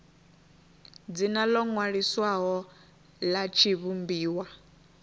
dzina ḽo ṅwaliswaho ḽa tshivhumbiwa